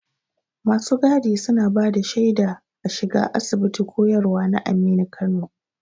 Masu gadi suna bada shaida shiga a Asibitin koyarwa na Aminu Kano.